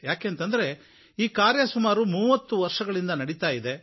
ಯಾಕೆಂದ್ರೆ ಈ ಕಾರ್ಯ ಸುಮಾರು 30 ವರ್ಷಗಳಿಂದ ನಡೀತಾ ಇದೆ